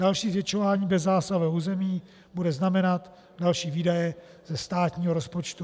Další zvětšování bezzásahového území bude znamenat další výdaje ze státního rozpočtu.